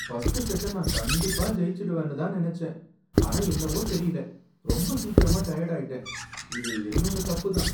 First செட்ட நான் கண்டிப்பா ஜெயிச்சிடுவேன்னு தான் நனச்சேன், ஆனா என்னவோ தெரியல ரொம்ப சீக்கிரமா டயர்ட் ஆயிட்டேன். இது என்னோட தப்பு தான்.